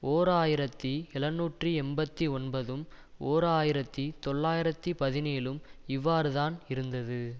ஓர் ஆயிரத்தி எழுநூற்றி எண்பத்தி ஒன்பதும் ஓர் ஆயிரத்தி தொள்ளாயிரத்தி பதினேழும் இவ்வாறுதான் இருந்தது